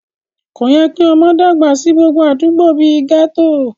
Kò yẹ kí ọmọ dàgbà sí gbogbo àdúgbò bí i gẹ́tò